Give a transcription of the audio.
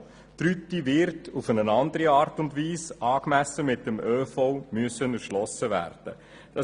Die Rüti wird auf eine andere Art und Weise angemessen mit dem ÖV erschlossen werden müssen.